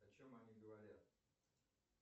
о чем они говорят